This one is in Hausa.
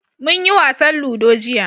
Munyi wasan ludo jiya.